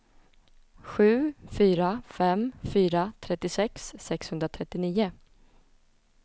sju fyra fem fyra trettiosex sexhundratrettionio